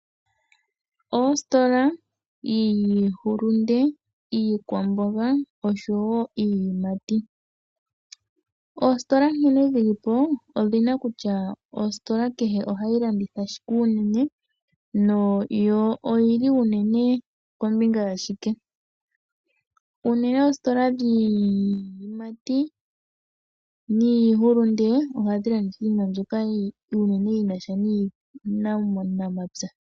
Ositola yiihulunde, iikwamboga oshowo iiyimati. Oositola nkene dhi li po odhi na kutya kehe ositola ohayi landitha shike unene na yo oyi li unene kombinga ya shike. Oositola dhiihulunde niiyimati ohadhi landitha unene iinima mbyoka yi na sha nuunamapya.